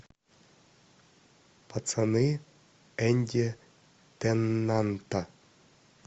пацаны энди теннанта